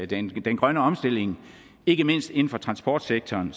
den grønne omstilling ikke mindst inden for transportsektoren